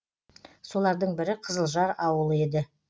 солардың бірі қызылжар ауылы еді